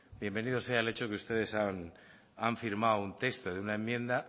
bienvenido sea el hecho que ustedes han firmado un texto de una enmienda